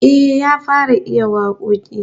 Eh, ya fara iya wakoki